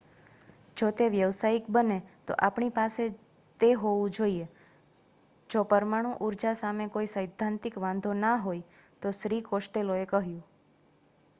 """જો તે વ્યવસાયિક બને તો આપણી પાસે તે હોવું જોઈએ. જો પરમાણુ ઉર્જા સામે કોઈ સૈદ્ધાંતિક વાંધો ના હોય તો" શ્રી કોસ્ટેલોએ કહ્યું.